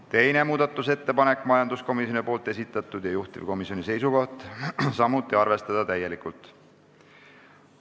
Teine muudatusettepanek on majanduskomisjoni esitatud ja juhtivkomisjoni seisukoht on samuti arvestada täielikult.